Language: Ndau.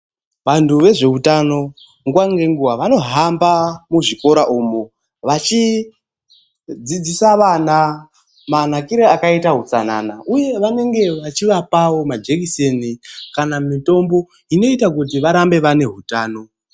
Vantu vezveutano nguwa ngenguwa vanohamba muzvikora umu vachidzidzisa vana manakire akaita utsanana uye vanenge vachivapawo majekuseni kana mitombo inoita kuti varambe vane hutano.